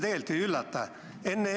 Mind see ei üllata.